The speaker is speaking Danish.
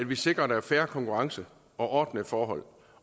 vi sikrer at der er fair konkurrence og ordnede forhold